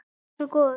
Hann var svo góður.